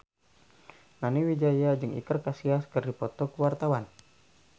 Nani Wijaya jeung Iker Casillas keur dipoto ku wartawan